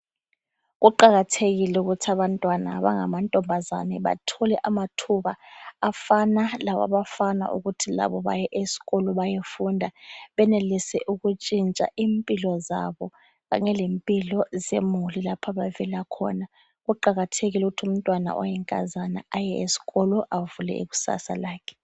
Kuqakathekile ukuthi abantwana abangamantombazane bathole amathuba afana lawabafana ukuthi labo baye esikolo bayefunda benelise ukutshintsha impilo zabo kanye lempilo zemuli lapho abavela khona. Kuqakathekile ukuthi umntwana oyinkazana aye esikolo avule ikusasa lakhe.